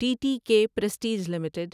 T T K Prestige limited